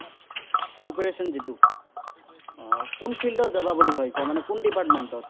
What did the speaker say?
কোন field ত যাবা বুলি ভাৱিছা? মানে কোন department ত?